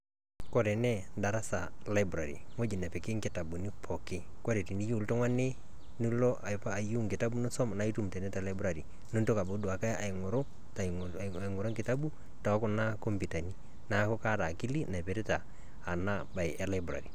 Kore enee daarasa library ng'oji napiiki nkitabuni pooki. Kore tiniyeu ltung'ani niloo eyeu nkitabu niisom naa eitum tenee te library nintoki auotu aing'uru aing'uru nkitabu to kuna kompyutani. Naaku kaata akili naipirita ena baayi e library.